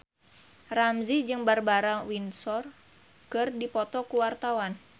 Ramzy jeung Barbara Windsor keur dipoto ku wartawan